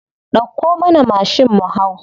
Dauko mana mashin mu hau.